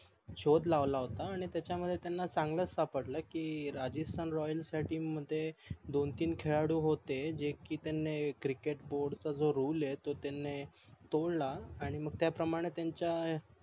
शोध लावला होता आणि त्याचा मध्ये चांगलाच सापडल की राजस्तान रॉयल च्या TEAM मध्ये दोन तीन खेळाळू होते जे की त्यांनी CRICKETBOARD चा जो रुल आहे तो त्यांनी तोडला आणि मग त्याप्रमाणे त्यांचा